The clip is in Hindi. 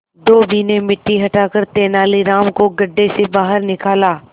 धोबी ने मिट्टी हटाकर तेनालीराम को गड्ढे से बाहर निकाला